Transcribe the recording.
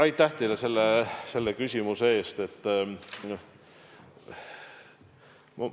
Aitäh teile selle küsimuse eest!